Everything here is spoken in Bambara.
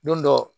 Don dɔ